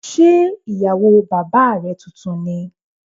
Ṣé ìyàwó bàbá rẹ tuntun ni?